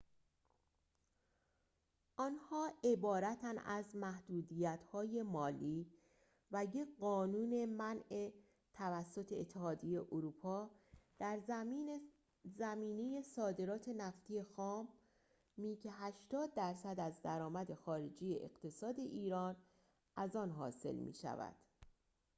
آنها عبارتند از محدودیت‌های مالی و یک قانون منع توسط اتحادیه اروپا در زمینه صادرات نفت خامی که ۸۰% از درآمد خارجی اقتصاد ایران از آن حاصل می‌شود